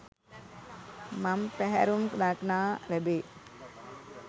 මං පැහැරුම් දක්නා ලැබේ.